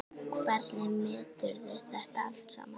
Hvernig meturðu þetta allt saman?